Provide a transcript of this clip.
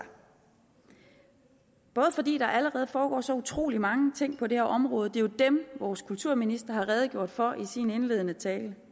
både fordi der allerede foregår så utrolig mange ting på det her område det er jo dem vores kulturminister har redegjort for i sin indledende tale